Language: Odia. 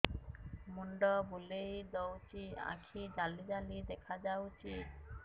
ମୁଣ୍ଡ ବୁଲେଇ ଦଉଚି ଆଖି ଜାଲି ଜାଲି ଦେଖା ଯାଉଚି